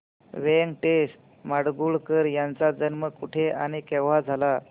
व्यंकटेश माडगूळकर यांचा जन्म कुठे आणि केव्हा झाला